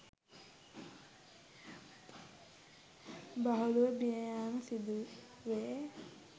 බහුලව මිය යෑම සිදු වේ